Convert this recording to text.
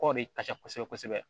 Kɔgɔ de ka ca kosɛbɛ kosɛbɛ